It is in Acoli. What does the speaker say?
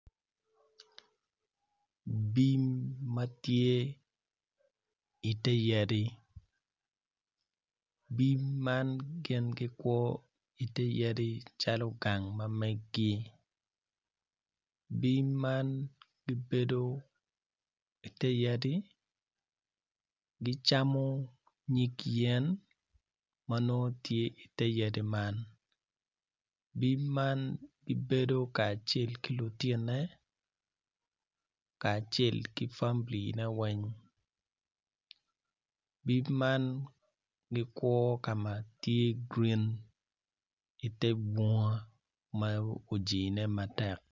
Bim ma tye i te yadi bim man gikwo i te yadi calo gang ma meggi bim ma gibedo i te yadi gicamo nyig yen ma nongo tye i te yadi man bim man gibedo kacel ki lutinone kacel ki familine weng bim man gikwo ka ma tye grin i te bunga ma ojine matek.